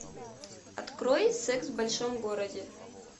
открой секс в большом городе